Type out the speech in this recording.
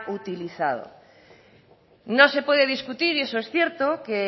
utilizado no se puede discutir y eso es cierto que